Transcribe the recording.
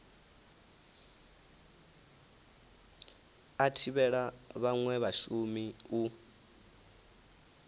a thivhela vhanwe vhashumi u